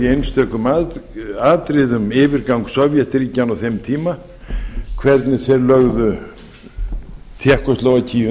í einstökum atriðum yfirgang sovétríkjanna á þeim tíma hvernig þeir lögðu tékkóslóvakíu